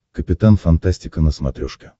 капитан фантастика на смотрешке